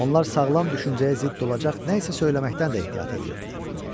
Onlar sağlam düşüncəyə zidd olacaq nə isə söyləməkdən də ehtiyat eləyirdilər.